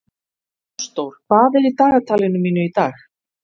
Ásdór, hvað er í dagatalinu mínu í dag?